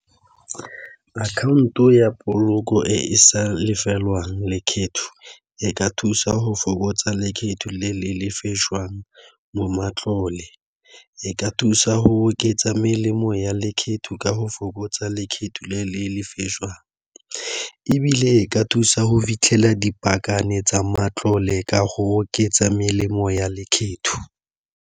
Akhaonto ya poloko e e sa lefelwang lekgetho, e ka thusa go fokotsa lekgetho le le lefajwang mo matlole. E ka thusa go oketsa melemo ya lekgetho ka go fokotsa lekgetho le lefejwang, ebile e ka thusa go fitlhela dipakane tsa matlole ka go oketsa melemo ya lekgetho.